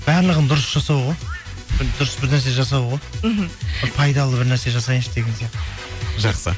барлығын дұрыс жасау ғой дұрыс бір нәрсе жасау ғой мхм пайдалы бір нәрсе жасайыншы деген сияқты жақсы